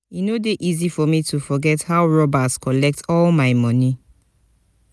e no dey easy for me to forget how robbers collect all my moni.